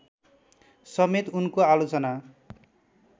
समेत उनको आलोचना